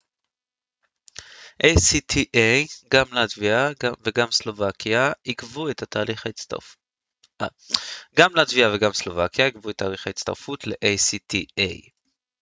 גם לטביה וגם סלובקיה עיכבו את תהליך ההצטרפות ל-acta